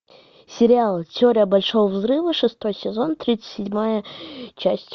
сериал теория большого взрыва шестой сезон тридцать седьмая часть